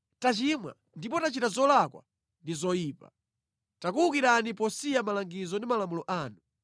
tachimwa ndipo tachita zolakwa ndi zoyipa. Takuwukirani posiya malangizo ndi malamulo anu.